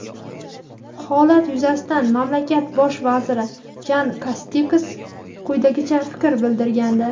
Holat yuzasidan mamlakat Bosh vaziri Jan Kasteks quyidagicha fikr bildirgandi:.